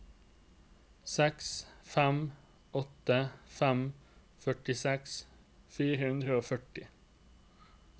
seks fem åtte fem førtiseks fire hundre og femti